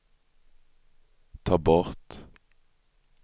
ta bort